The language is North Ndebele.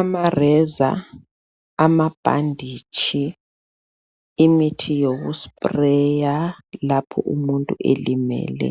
Amareza, amabhanditshi, imithi yokufafaza lapho umuntu elemele